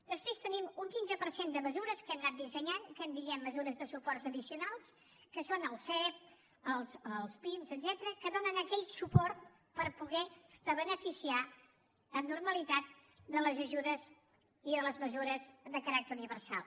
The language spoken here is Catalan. després tenim un quinze per cent de mesures que hem anat dissenyant que en diem mesures de suport addicionals que són el sep els pim etcètera que donen aquell suport per poder se beneficiar amb normalitat de les ajudes i de les mesures de caràcter universal